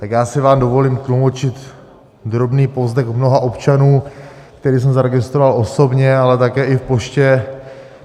Tak já si vám dovolím tlumočit drobný povzdech mnoha občanů, který jsem zaregistroval osobně, ale také i v poště.